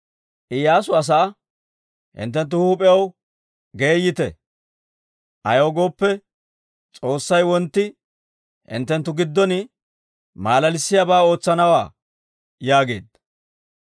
Iyyaasu asaa, «Hinttenttu huup'iyaw geeyite; ayaw gooppe, S'oossay wontti hinttenttu giddon maalalissiyaabaa ootsanawaa» yaageedda.